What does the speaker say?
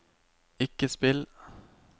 ikke spill